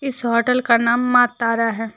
इस होटल का नाम मां तारा है।